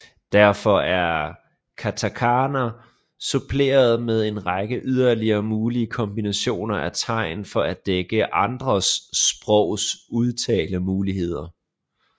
Derfor er katakana suppleret med en række yderligere mulige kombinationer af tegn for at dække andre sprogs udtalemuligheder